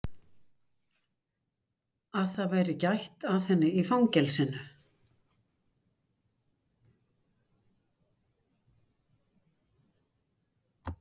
Að það væri gætt að henni í fangelsinu?